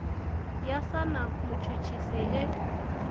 ya sa na mutshutshisi e